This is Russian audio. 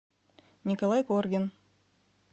николай коргин